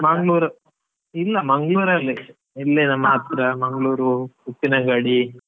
ಮಂಗ್ಳುರ್, ಇಲ್ಲಾ ಮಂಗ್ಳುರ್ ಅಲ್ಲೇ ಇಲ್ಲಿ ನಮ್ ಹತ್ರ ಮಂಗ್ಳುರ್ ಉಪ್ಪಿನಂಗಡಿ.